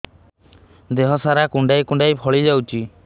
ଦେହ ସାରା କୁଣ୍ଡାଇ କୁଣ୍ଡାଇ ଫଳି ଯାଉଛି